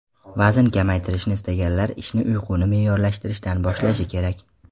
Vazn kamaytirishni istaganlar ishni uyquni me’yorlashtirishdan boshlashi kerak.